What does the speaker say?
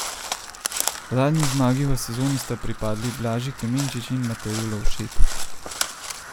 Zadnji zmagi v sezoni sta pripadli Blaži Klemenčič in Mateju Lovšetu.